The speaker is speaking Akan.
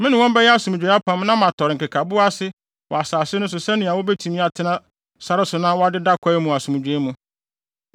“ ‘Me ne wɔn bɛyɛ asomdwoe apam na matɔre nkekaboa ase wɔ asase no so sɛnea wobetumi atena sare so na wɔadeda kwae mu asomdwoe mu.